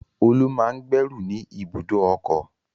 Olú máa ń gbẹ́rù ni ibùdó ọkọ̀.